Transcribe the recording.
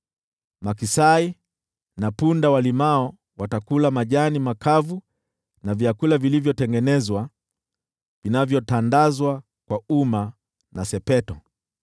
Maksai na punda walimao watakula majani makavu na vyakula vilivyotengenezwa, vinavyotandazwa kwa uma na sepeto.